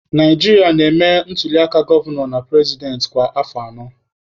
Naijiria na-eme ntuliaka gọvanọ na purezidentị kwa afọ anọ.